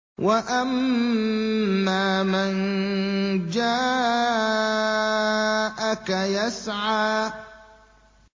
وَأَمَّا مَن جَاءَكَ يَسْعَىٰ